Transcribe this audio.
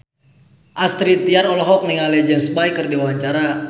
Astrid Tiar olohok ningali James Bay keur diwawancara